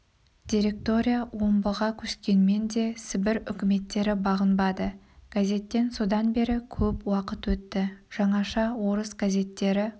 директория омбыға көшкенмен де сібір үкіметтері бағынбады газеттен содан бері көп уақыт өтті жаңаша орыс газеттері